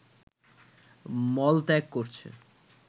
মলত্যাগ করছে